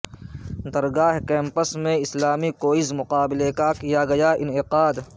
درگاہ campus میں اسلامی quiz مقابلے کا کیاگیا انعقاد